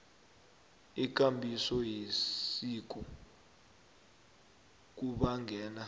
ikambiso yesiko kubangela